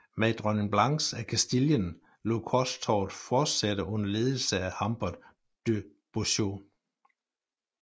Men dronning Blanche af Castillien lod korstoget forsætte under ledelse af Humbert de Beaujeau